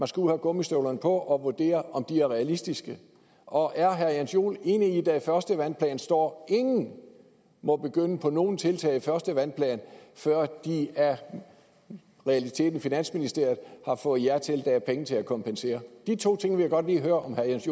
skal have gummistøvlerne på og vurdere om de er realistiske og er herre jens joel enig i at der i første vandplan står ingen må begynde på nogen tiltag i første vandplan før de i realiteten af finansministeriet har fået ja til at der er penge til at kompensere de to ting vil jeg godt lige høre om herre jens